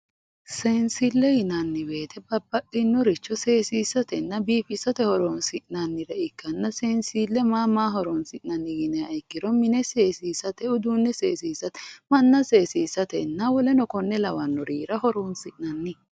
seensille yinanni woyte babbaxinoricho seessisatena biifisate horonsi'nanniha ikkanna seensille mama maaho horonsi'nanni yiniha ikkiro mine seesisate uduunne seesisate manna seessisate woleno konne lawannorira horonsi'nanni.